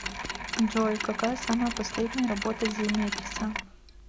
джой какая самая последняя работа земекиса